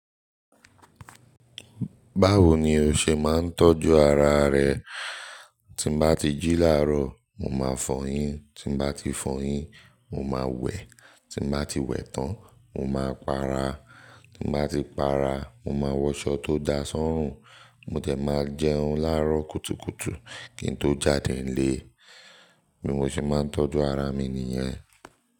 Báwo ni o ṣe máa ń tọ́jú ara rẹ? Tí mo bá ti jí láàárọ̀, màá fọyín, tí mo bá ti fọyín, màá wẹ̀, tí mo bá ti wẹ̀ tán, màá pa ara, tí mo bá ti pa ara, màá wọṣọ tó da ṣọ́rùn, mo dẹ̀ máa jẹun láàárọ̀ kùtùkùtù kí n tó jáde nílé. Bí mo ṣe máa ń tọ́jú ara mi nìyẹn.